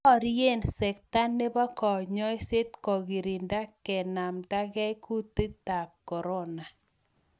Borie sekta nebo konyoiset kogirinda kenamtakei kutitab korona